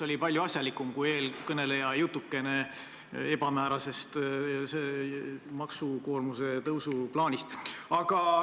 See oli palju asjalikum kui eelkõneleja jutukene ebamäärasest maksukoormuse tõstmise plaanist.